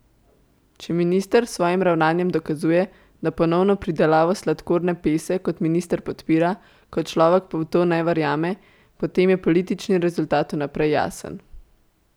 Če minister s svojim ravnanjem dokazuje, da ponovno pridelavo sladkorne pese kot minister podpira, kot človek pa v to ne verjame, potem je politični rezultat vnaprej jasen.